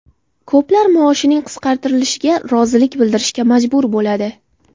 Ko‘plar maoshining qisqartirilishiga rozilik bildirishga majbur bo‘ladi.